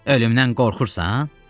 Ölümdən qorxursan?